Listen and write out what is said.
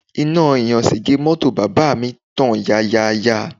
Iná ìyàṣẹ́gbẹ̀ẹ́ mọ́tò bàbá mi ń tàn yanran yanran